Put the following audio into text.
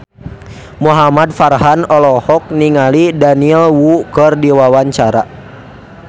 Muhamad Farhan olohok ningali Daniel Wu keur diwawancara